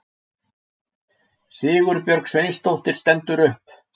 Sigurbjörg Sveinsdóttir stendur upp.